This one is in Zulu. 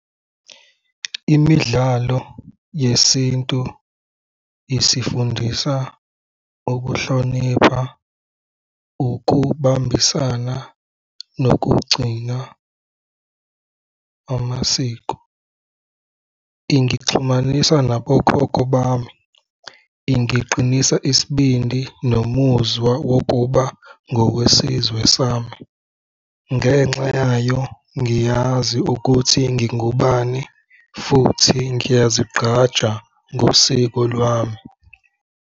Imidlalo yesintu isifundisa ukuhlonipha, ukubambisana nokugcina amasiko. Ingixhumanisa nabokhokho bami, ingiqinisa isibindi nomuzwa wokuba ngokwesizwe sami. Ngenxa yayo ngiyazi ukuthi ngingubani futhi ngiyazigqaja ngosiko lwami.